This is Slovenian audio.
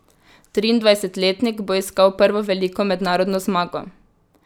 Triindvajsetletnik bo iskal prvo veliko mednarodno zmago.